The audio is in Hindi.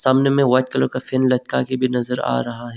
में व्हाइट कलर का फैन लटका के भी नज़र आ रहा है।